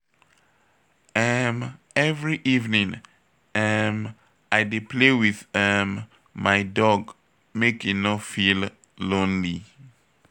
um Every evening, um I dey play with um my dog make e no feel lonely.